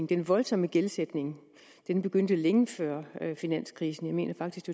den voldsomme gældsætning begyndte længe før finanskrisen jeg mener faktisk